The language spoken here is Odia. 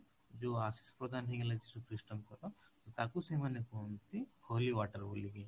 ଯୋଉ ଆଶିଷ ପ୍ରଦାନ ହେଇଗଲା ଯୀଶୁ ଖ୍ରୀଷ୍ଟଙ୍କର ତାକୁ ସେମାନେ କହନ୍ତି holy water ବୋଲି କି